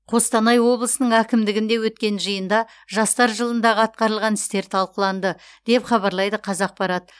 қостанай облысының әкімдігінде өткен жиында жастар жылындағы атқарылған істер талқыланды деп хабарлайды қазақпарат